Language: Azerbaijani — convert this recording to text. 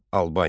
Albaniya.